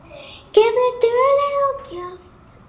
Gefðu duglega á kjaft.